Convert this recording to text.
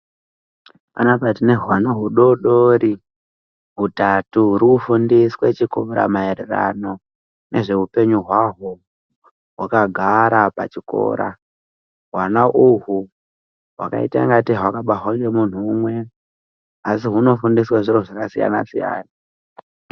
Panoapa tinehwana hudodori hutatu huru kufundiswe chikora maererano nezveupenyu hwaho hwakagara pachikora ,hwana uhu hunoita ngatei hwakabarwa ngemunhu umwe asi hunofundswe zviro zvakasiyanasiyana.